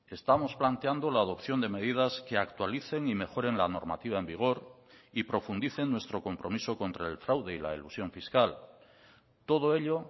estamos planteando la adopción de medidas que actualicen y mejoren la normativa en vigor y profundicen nuestro compromiso contra el fraude y la elusión fiscal todo ello